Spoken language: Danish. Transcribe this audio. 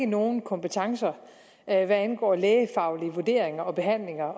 nogen kompetencer hvad angår lægefaglige vurderinger og behandlinger